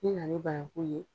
N' i nana ni bananku ye